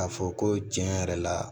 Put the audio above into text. K'a fɔ ko tiɲɛ yɛrɛ la